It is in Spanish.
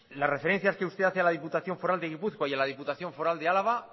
las referencias que usted hace a la diputación foral de gipuzkoa y a la diputación foral de álava